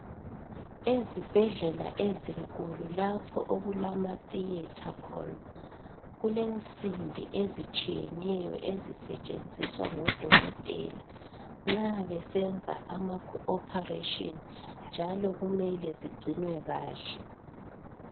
Ezibhedlela ezinkulu lapho okulama theatre khona kulensimbi ezitshiyeneyo ezisetshenziswa ngodokotela nxa besenza ama kho operation njalo kumele zigcinwe kahle